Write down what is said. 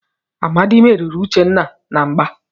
Amadi merìrì Uchenna na mgbà.